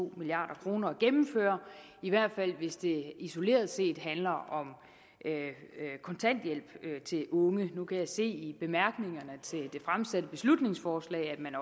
milliard kroner at gennemføre i hvert fald hvis det isoleret set handler om kontanthjælp til unge nu kan jeg se i bemærkningerne til det fremsatte beslutningsforslag at man